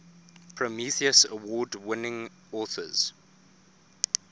prometheus award winning authors